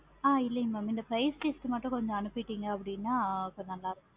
ஆஹ் இல்லைங்க mam இந்த price list மட்டும் கொஞ்சம் அனுப்பிட்டீங்க அப்படினா கொஞ்சம் நல்ல இருக்கு